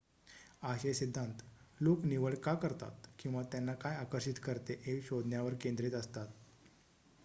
आशय सिद्धांत लोक निवड का करतात किंवा त्यांना काय आकर्षित करते हे शोधण्यावर केंद्रित असतात